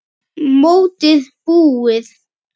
Mótið búið?